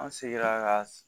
An sera ka